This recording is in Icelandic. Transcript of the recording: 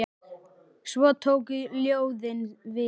Svo tóku ljóðin við.